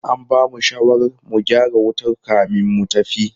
An bamu shawarar mu gyara wutar kamin mu tafi.